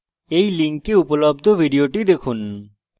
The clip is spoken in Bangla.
এই লিঙ্কে উপলব্ধ video দেখুন